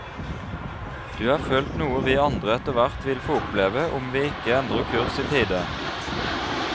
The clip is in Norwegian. Du har følt noe vi andre etterhvert vil få oppleve om vi ikke endrer kurs i tide.